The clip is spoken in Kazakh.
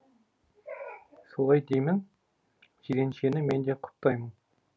солай деймін жиреншені мен де құптаймын